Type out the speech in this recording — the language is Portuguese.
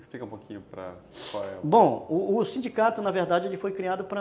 Explica um pouquinho para... Bom, o sindicato, na verdade, ele foi criado para